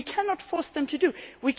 against. We cannot force them